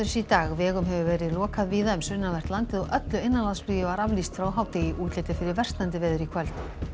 í dag vegum hefur verið lokað víða um sunnanvert landið og öllu innanlandsflugi var aflýst frá hádegi útlit er fyrir versnandi veður í kvöld